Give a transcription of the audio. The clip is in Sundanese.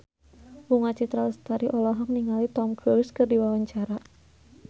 Bunga Citra Lestari olohok ningali Tom Cruise keur diwawancara